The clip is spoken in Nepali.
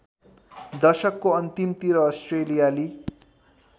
दशकको अन्तिमतिर अस्ट्रेलियाली